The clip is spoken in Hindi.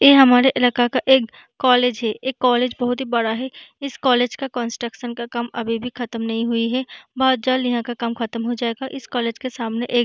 इ हमारा इलाका का एक कॉलेज है कॉलेज बहुत बड़ा है इस कॉलेज का कंस्ट्रक्शन का काम अभी भी ख़त्म नहीं हुआ है बहुत जल्द यहाँ का काम ख़त्म हो जायेगा इस कॉलेज का सामने --